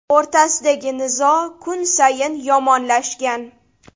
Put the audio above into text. o‘rtasidagi nizo kun sayin yomonlashgan.